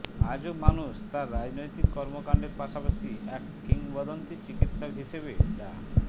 আজও মানুষ তাঁর রাজনৈতিক কর্মকাণ্ডের পাশাপাশি এক কিংবদন্তি চিকিৎসক হিসেবে ডা